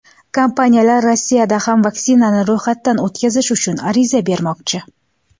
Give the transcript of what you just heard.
Kompaniyalar Rossiyada ham vaksinani ro‘yxatdan o‘tkazish uchun ariza bermoqchi.